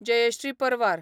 जयश्री परवार